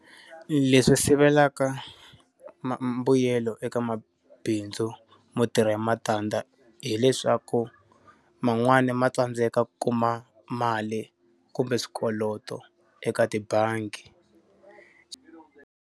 Leswi sivelaka ma mbuyelo eka mabindzu mo tirha hi matandza hileswaku, man'wani ma tsandzeka ku kuma mali kumbe swikoloto eka tibangi.